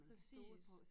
Præcis